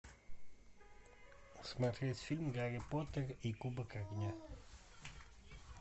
смотреть фильм гарри поттер и кубок огня